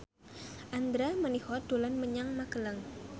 Andra Manihot dolan menyang Magelang